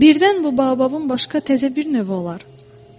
Birdən bu bababın başqa təzə bir növü olar.